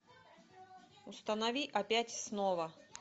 установи опять снова